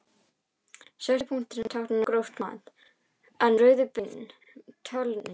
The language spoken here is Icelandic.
Svörtu punktarnir tákna gróft mat en rauðu beina talningu.